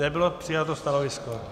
Nebylo přijato stanovisko.